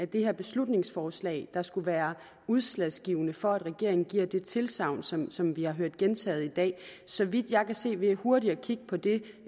det her beslutningsforslag der skulle være udslagsgivende for at regeringen giver det tilsagn som som vi har hørt gentaget i dag så vidt jeg kan se ved hurtigt at kigge på det